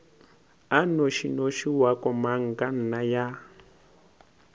a nnošinoši wa komangkanna ya